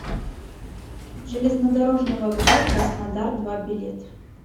железнодорожный вокзал краснодар два билет